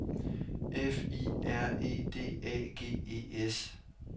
F I R E D A G E S